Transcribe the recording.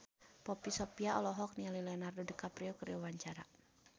Poppy Sovia olohok ningali Leonardo DiCaprio keur diwawancara